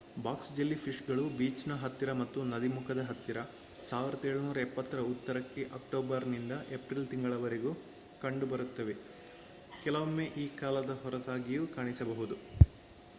box jelly fish ಗಳು ಬೀಚ್ನ ಹತ್ತಿರ ಮತ್ತು ನದಿ ಮುಖದ ಹತ್ತಿರ 1770ರ ಉತ್ತರಕ್ಕೆ ಅಕ್ಟೋಬರ್ ನಿಂದ ಏಪ್ರಿಲ್ ತಿಂಗಳವರೆಗೂ ಕಂಡುಬರುತ್ತವೆ ಕೆಲವೊಮ್ಮೆ ಈ ಕಾಲದ ಹೊರತಾಗಿಯೂ ಕಾಣಿಸಬಹುದು